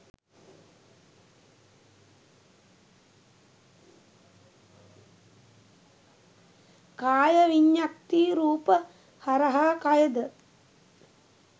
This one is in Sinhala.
කාය විඤ්ඤත්ති රූප හරහා කයද